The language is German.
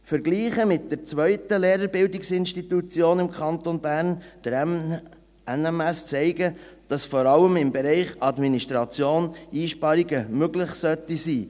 Vergleiche mit der zweiten Lehrerbildungsinstitution im Kanton Bern, der NMS, zeigen, dass vor allem im Bereich Administration Einsparungen möglich sein sollten.